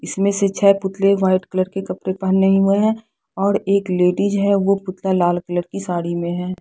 इसमें से छह पुतले वाइट कलर के कपड़े पहने हुए हैं और एक लेडीज है वो पुतला लाल कलर की साड़ी में है।